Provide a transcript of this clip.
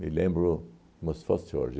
Me lembro como se fosse hoje.